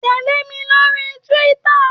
Tẹ̀lé mi lórí Twitter.